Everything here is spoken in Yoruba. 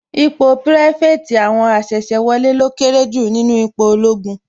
Ipò pirafeti àwọn asese wọlé lọ kéré jù nínú ipò ológun